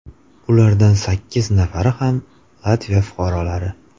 Ulardan sakkiz nafari ham Latviya fuqarolari.